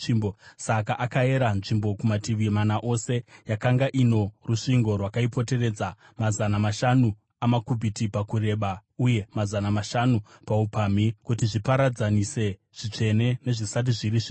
Saka akayera nzvimbo kumativi mana ose. Yakanga ino rusvingo rwakaipoteredza, mazana mashanu amakubhiti pakureba uye mazana mashanu paupamhi, kuti zviparadzanise zvitsvene nezvisati zviri zvitsvene.